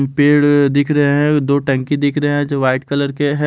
पेड़ दिख रहे हैं दो टंकी दिख रही हैं जो वाइट कलर है।